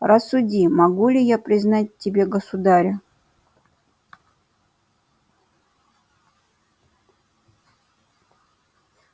рассуди могу ли я признать в тебе государя